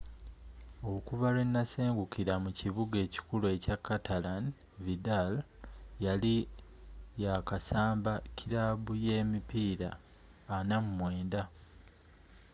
okuva lwenasengukira mu kibuga ekikulu ekya catalan vidal yali yakasamba kirabu ye emipiira 49